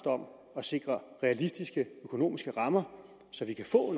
om at sikre realistiske økonomiske rammer så vi kan få